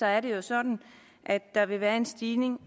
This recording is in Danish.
er det jo sådan at der vil være en stigning